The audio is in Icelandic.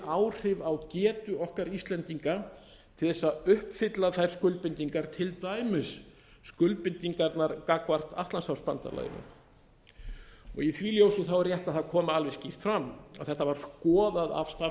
áhrif á getu okkar íslendinga til þess að uppfylla þær skuldbindingar til dæmis skuldbindingar gagnvart atlantshafsbandalaginu í því ljósi er rétt að það komi alveg skýrt fram að þetta var skoðað af